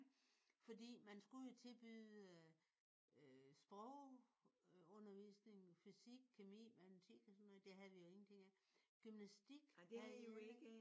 Fordi man skulle jo tilbyde øh sprogundervisning fysik kemi matematik og sådan noget. Det havde vi jo ingenting af. Gymnastik havde vi ikke